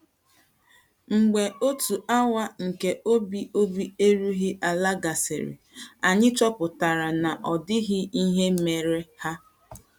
Mgbe otu awa nke obi obi erughị̀ ala gasịrị, anyị chọpụtara na ọ̀ dịghị ihe mere ha.